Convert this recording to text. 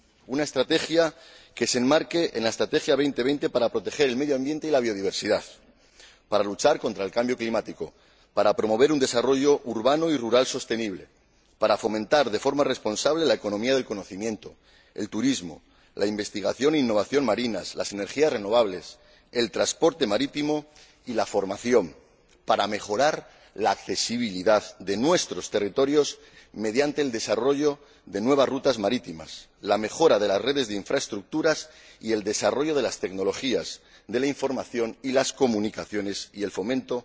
Una estrategia que se enmarque en la Estrategia Europa 2020 para proteger el medio ambiente y la biodiversidad, para luchar contra el cambio climático, para promover un desarrollo urbano y rural sostenible, para fomentar de forma responsable la economía del conocimiento, el turismo, la investigación e innovación marinas, las energías renovables, el transporte marítimo y la formación, para mejorar la accesibilidad de nuestros territorios mediante el desarrollo de nuevas rutas marítimas, la mejora de las redes de infraestructuras y el desarrollo de las tecnologías de la información y las comunicaciones, y el fomento